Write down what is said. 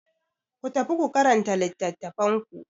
Ku tafi ku karanta littattafan ku.